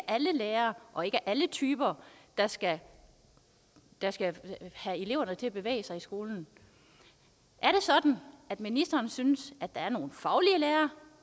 alle lærere og ikke alle typer der skal der skal få eleverne til at bevæge sig i skolen er det sådan at ministeren synes at der er nogle faglige lærere